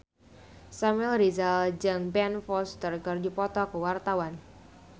Samuel Rizal jeung Ben Foster keur dipoto ku wartawan